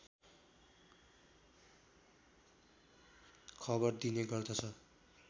खबर दिने गर्दछ